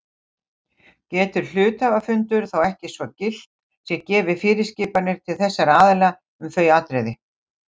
Getur hluthafafundur þá ekki svo gilt sé gefið fyrirskipanir til þessara aðila um þau atriði.